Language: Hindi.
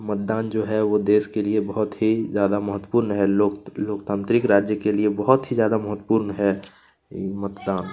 मतदान जो है वो देश के लिए बहुत ही ज्यादा मत्वपूर्ण है लोक लोकतांत्रिक राज्य के लिए बहुत ही ज्यादा महत्वपूर्ण है मतदान।